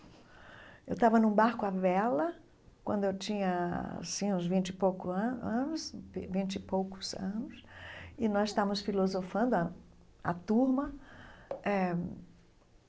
Eu estava num barco à vela quando eu tinha assim uns vinte e pouco ano anos vinte e poucos anos, e nós estávamos filosofando a a turma eh.